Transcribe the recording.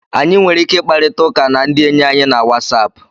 Anyị nwere ike ịkparịta ụka na ndị enyi anyị na Wasapụ